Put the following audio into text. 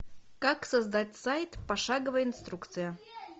как создать сайт пошаговая инструкция